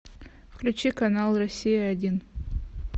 включи канал россия один